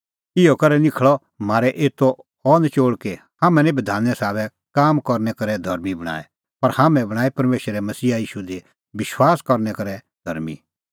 इहअ करै निखल़अ म्हारै एतो अह नचोल़ कि हाम्हैं निं बधाने साबै काम करनै करै धर्मीं बणांऐं पर हाम्हैं बणांऐं परमेशरै मसीहा ईशू दी विश्वास करनै करै धर्मीं